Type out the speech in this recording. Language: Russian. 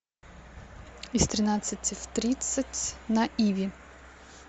из тринадцати в тридцать на иви